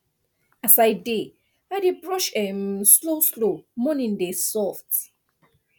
as i dey i dey brush um slowslow morning dey soft